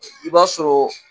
i b'a sɔrɔ